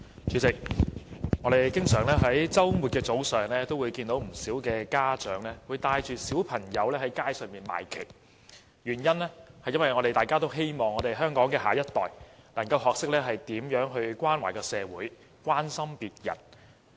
主席，我們在周末早上經常會看見不少家長帶同小孩到街上賣旗，因為我們希望香港的下一代能夠學懂如何關懷社會和關心別人。